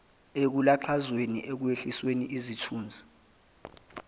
ekulaxazweni ekwehlisweni isithunzi